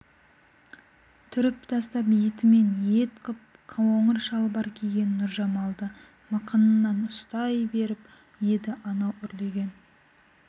түріп тастап етімен ет қып қоңыр шалбар киген нұржамалды мықынынан ұстай беріп еді анау үрлеген